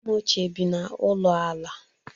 Nne m ochie bi n'ụlọ ala.